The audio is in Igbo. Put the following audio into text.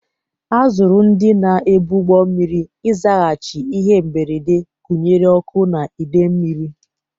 A zụrụ ndị na-ebu ụgbọ mmiri ịzaghachi ihe mberede, gụnyere ọkụ na idei mmiri.